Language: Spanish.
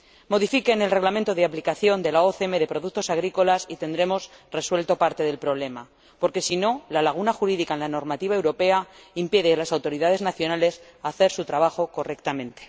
Modifiquen el Reglamento de aplicación de la OCM de productos agrícolas y tendremos resuelto parte del problema, porque, en caso contrario, la laguna jurídica en la normativa europea impide a las autoridades nacionales hacer su trabajo correctamente.